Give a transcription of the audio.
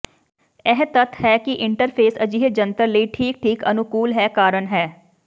ਇਹ ਤੱਥ ਹੈ ਕਿ ਇੰਟਰਫੇਸ ਅਜਿਹੇ ਜੰਤਰ ਲਈ ਠੀਕ ਠੀਕ ਅਨੁਕੂਲ ਹੈ ਕਾਰਨ ਹੈ